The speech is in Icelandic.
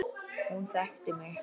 Hún þekkti mig.